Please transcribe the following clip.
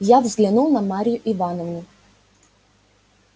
я взглянул на марью ивановну